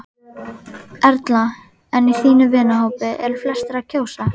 Erla: En í þínum vinahópi, eru flestir að kjósa?